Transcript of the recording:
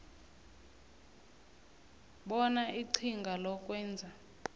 bona iqhinga lokwenza